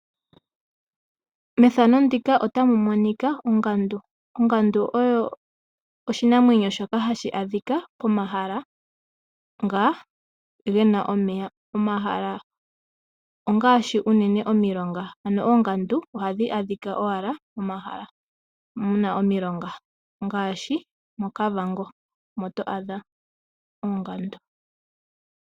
Methano ndika otamu monika ongandu. Ongandu oyo oshinamwenyo shoka hashi adhika pomahala nga gena omeya. Omahala ongaashi unene omiilongo. Ano oongandu ohadhi adhika owala momahala muna omilonga ngaashi moKavango omo to adha oongandu.